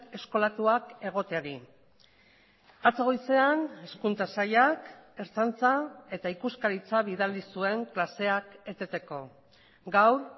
eskolatuak egoteari atzo goizean hezkuntza sailak ertzaintza eta ikuskaritza bidali zuen klaseak eteteko gaur